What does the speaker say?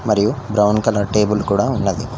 మరియు brown colour table కూడా ఉన్నది.